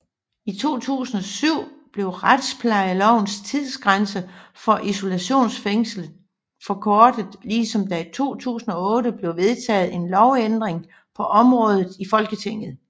I 2007 blev retsplejelovens tidsgrænser for isolationsfængsling forkortet ligesom der i 2008 blev vedtaget en lovændring på området i Folketinget